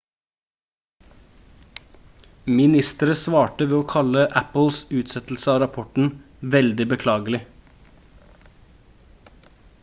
ministeriet svarte ved å kalle apples utsettelse av rapporten «veldig beklagelig»